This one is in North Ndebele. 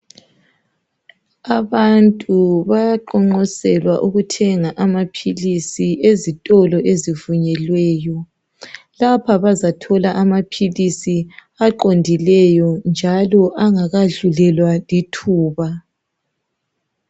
Abantu bayaqonqoselwa ukuthenga amaphilisi ezitolo ezivunyelweyo lapho bazathola amaphilisi aqondileyo njalo angakadlulelwa lithuba.